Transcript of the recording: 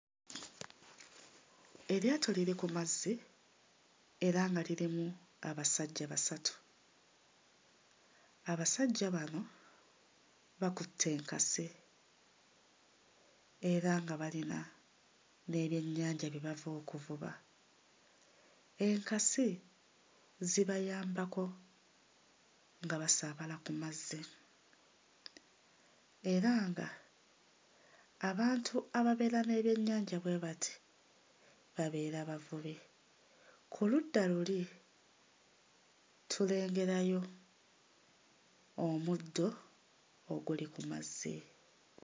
Eryato liri ku mazzi era nga lirimu abasajja basatu. Abasajja bano bakutte enkasi era nga balina n'ebyennyanja bye bava okuvuba. Enkasi zibayambako nga basaabala ku mazzi era nga abantu ababeera n'ebyennyanja bwe bati, babeera bavubi. Ku ludda luli tulengerayo omuddo oguli ku mazzi.